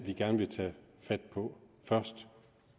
vi gerne vil tage fat på først